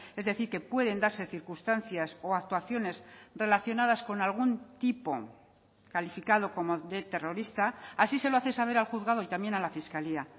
es decir que pueden darse circunstancias o actuaciones relacionadas con algún tipo calificado como de terrorista así se lo hace saber al juzgado y también a la fiscalía